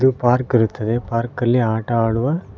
ಇದು ಪಾರ್ಕ್ ಇರುತ್ತದೆ ಪಾರ್ಕಲ್ಲಿ ಆಟವಾಡುವ--